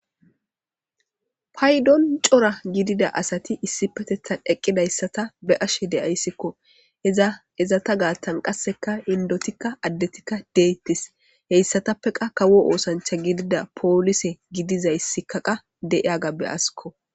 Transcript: Paydon cora gidida asati issi petethan eqqidayssata be ashe deyayssikko eza ezata gaattan qasseka indotikka addetikka deettis heyssatappe qa kawo oosancha gidida poolise gidizayssikaqa deiyagabbe askko.